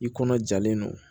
I kɔnɔ jalen don